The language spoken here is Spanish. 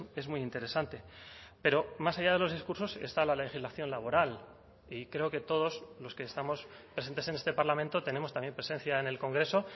es muy interesante pero más allá de los discursos está la legislación laboral y creo que todos los que estamos presentes en este parlamento tenemos también presencia en el congreso